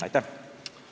Aitäh!